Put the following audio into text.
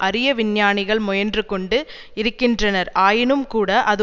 அறிய விஞ்ஞானிகள் முயன்று கொண்டு இருக்கின்றனர் ஆயினும் கூட அது